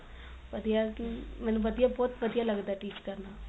ਵਧੀਆ ਮੇਨੂੰ ਵਧੀਆ ਬਹੁਤ ਵਧੀਆ ਲੱਗਦਾ teach ਕਰਨਾ